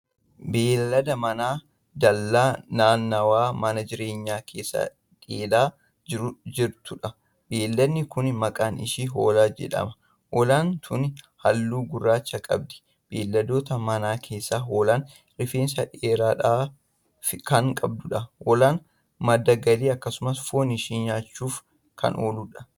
Beeylada manaa dallaa naannawa mana jiree keessa dheedaa jirtuudha. beeyladni Kuni maqaan ishee hoolaa jedhama. hoolaan. tuni halluu gurraacha qabdi. beeyladoota manaa keessaa hoolaan rifeensa dhedheeraa Kan qabduudha. hoolaan madda galiif akkasumas foon ishee nyaachuuf Kan ooludha.